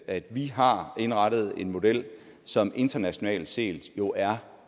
at vi har indrettet en model som internationalt set jo er